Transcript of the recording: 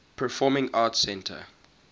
performing arts center